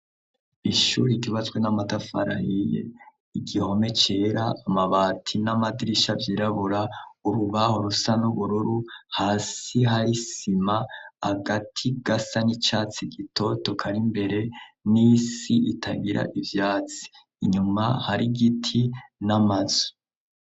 Ishure ryubatswe n'amatafari ahiye, igihome cera, amabati n'amadirisha vyirabura, urubaho rusa n'ubururu, hasi hari isima, agati gasa n'icatsi gitoto kari imbere n'isi itagira ivyatsi inyuma hari igiti n'amazu.